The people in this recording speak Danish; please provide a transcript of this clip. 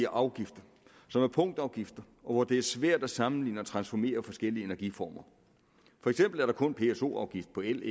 afgifter som er punktafgifter og det er svært at sammenligne og transformere forskellige energiformer for eksempel er der kun pso afgift på el